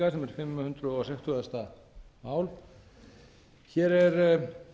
fimm hundruð sextugasta mál hér er